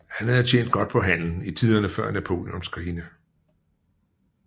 Han havde tjent godt på handelen i tiderne før Napoleonskrigene